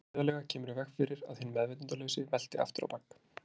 Læst hliðarlega kemur í veg fyrir að hinn meðvitundarlausi velti aftur á bak.